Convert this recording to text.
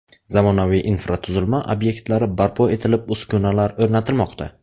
Zamonaviy infratuzilma obyektlari barpo etilib, uskunalar o‘rnatilmoqda.